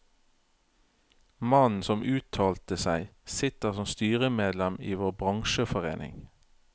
Mannen som uttalte seg, sitter som styremedlem i vår bransjeforening.